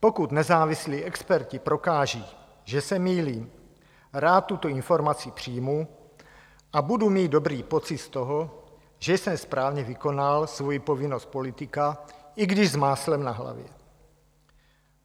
Pokud nezávislí experti prokážou, že se mýlím, rád tuto informaci přijmu a budu mít dobrý pocit z toho, že jsem správně vykonal svoji povinnost politika, i když s máslem na hlavě.